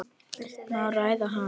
Má ræða hana?